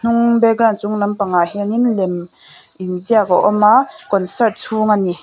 mm background chung lampangah hianin lem inziak a awm a concert chhung a ni.